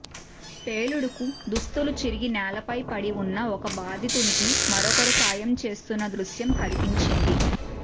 పేలుడుకు దుస్తులు చిరిగి నేలపై పడి ఉన్న ఒక బాధితునికి మరొకరు సాయం చేస్తున్న దృశ్యం కనిపించింది